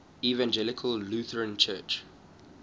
evangelical lutheran church